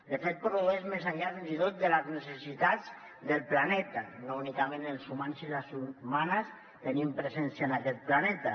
de fet produeix més enllà fins i tot de les necessitats del planeta no únicament els humans i les humanes tenim presència en aquest planeta